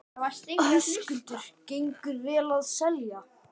Höskuldur: Gengur vel að selja?